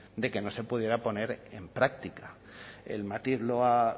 de que no se pudiera poner en práctica el matiz